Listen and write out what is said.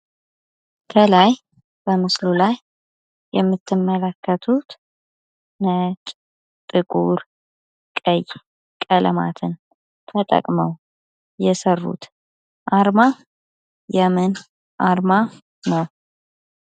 ከላይ በምስሉ ላይ የምትመለከቱት ነጭ ጥቁር ቀይ ቀለማትን ተጠቅመው የሰሩት አርማ የምን አርማ ነው?